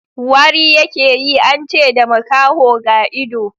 Wari ya ke yi, an ce da makaho ga ido